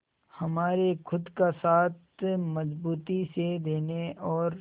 हमारे खुद का साथ मजबूती से देने और